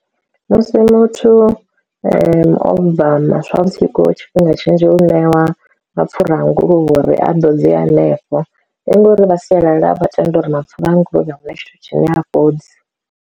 Musi muthu o bva maswavhusiku tshifhinga tshinzhi u ṋewa mapfhura a nguluvhe uri a ḓo dze hanefho, ndi ngori vha sialala vha tenda uri mapfhura a nguluvhe huna tshithu tshine hafhodzi.